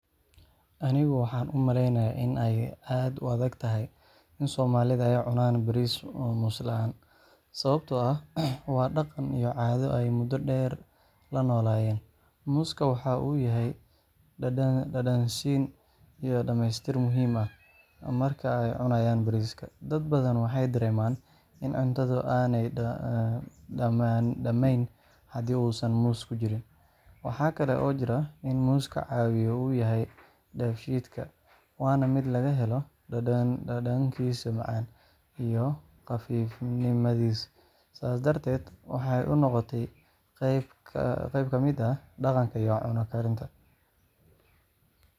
Anigu waxaan umaleynaya in aay aad u adag tahay in somalida aay cunaan bariis moos laan sababta oo ah waa daqan iyo caado aay mudo deer la nolayeen, mooska waxaa uu yahay dadan siin iyo dameestir marka aay cunayan bariiska dad badan waxeey dareeman in cuntadu aay dameen hadii uu moos kujirin, waxaa kale oo jira in mooska cawiya uyahay dafshiidka waana mid laga helo dadankiisa macan iyo qafiif nimadiisa, saas darteed waxeey inoqote qaab kamid ah daqanka iyo cuno karinta.